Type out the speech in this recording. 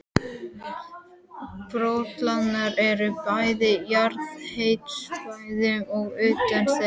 Borholurnar eru bæði á jarðhitasvæðum og utan þeirra.